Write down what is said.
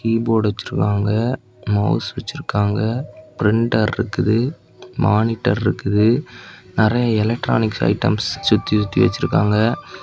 Keyboard வச்சிருக்காங்க mouse வச்சிருக்காங்க printer இருக்குது மானிட்டர் இருக்குது நெறைய எலக்ட்ரானிக்ஸ் ஐட்டம்ஸ் சுத்தி சுத்தி வச்சிருக்காங்க.